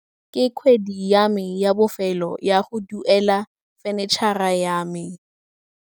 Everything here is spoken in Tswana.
Ke kgwedi ya me ya bofêlô ya go duela fenitšhara ya me.